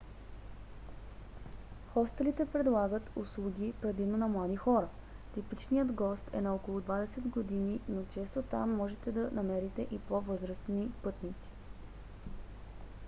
хостелите предлагат услуги предимно на млади хора – типичният гост е на около двадесет години но често там можете да намерите и по-възрастни пътници